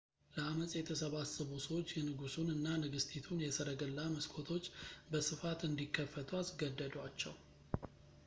ለአመጽ የተሰባሰቡ ሰዎች የንጉሱን እና ንግሥቲቱን የሰረገላ መስኮቶች በስፋት እንዲከፍቱ አስገደዷቸው